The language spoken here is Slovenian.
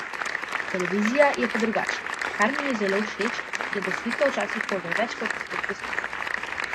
Televizija je pa drugačna, kar mi je zelo všeč je, da slika včasih pove več kot tisoč besed.